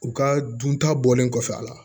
U ka dun ta bɔlen kɔfɛ a la